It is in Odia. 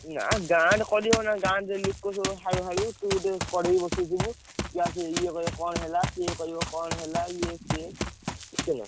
ନା, ଗାଁରେ କରି ହବ ନା? ଗାଁରେ ଯଉ ଲୋକ ସବୁ ହାଳୁ ହାଳୁ ତୁ କଡେଇ ବସେଇ ଥିବୁ ଇଏ ଆସିବ, ଇଏ କହିବ, କଣ ହେଲା? ସିଏ କହିବ, କଣ ହେଲା ଇଏ ସିଏ ବୁଝିଲ।